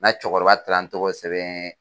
Nka cɛkɔrɔba taara n tɔgɔ sɛbɛn.